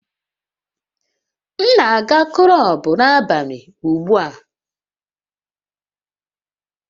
M na-aga kulub n'abalị ugbu a